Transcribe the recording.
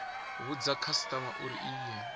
vhudza khasitama uri i ye